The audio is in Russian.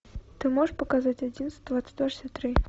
ты можешь показать одиннадцать двадцать два шестьдесят три